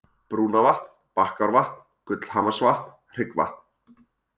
Brúnavatn, Bakkárvatn, Gullhamarsvatn, Hryggvatn